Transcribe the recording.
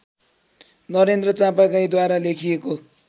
नरेन्द्र चापागाईँद्वारा लेखिएको